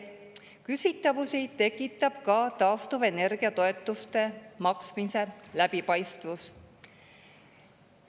Küsitavusi tekitab ka taastuvenergia toetuste maksmise läbipaistvus.